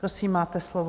Prosím, máte slovo.